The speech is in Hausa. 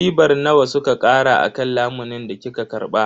Ribar nawa suka kara akan lamunin da kika karba?